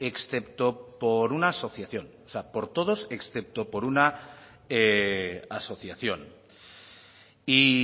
excepto por una asociación o sea por todos excepto por una asociación y